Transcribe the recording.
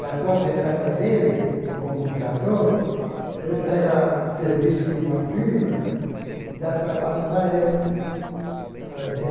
Na própria casa dele, no computador, ele pega serviço de uma firma e dá trabalho para ele fazer.